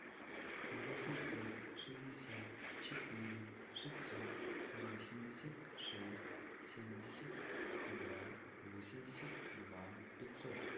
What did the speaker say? восемьсот шестьдесят четыре шестьсот восемьдесят шесть семьдесят два восемьдесят два пятьсот